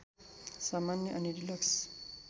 सामान्य अनि डिलक्स